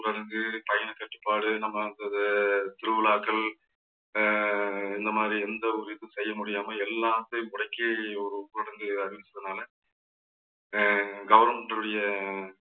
ஊரடங்கு பயண கட்டுப்பாடு நம்ம அந்த இது திருவிழாக்கள் அஹ் இந்த மாதிரி எந்த ஒரு இதுவும் செய்ய முடியாம எல்லாத்தையும் முடக்கி ஒரு ஊரடங்கு அறிவிச்சதுனால அஹ் government உடைய